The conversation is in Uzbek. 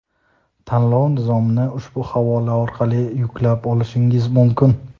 Tanlov nizomini ushbu havola orqali yuklab olishingiz mumkin;.